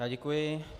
Já děkuji.